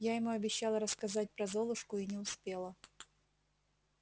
я ему обещала рассказать про золушку и не успела